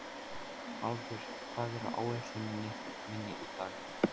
Haraldur, hvað er á áætluninni minni í dag?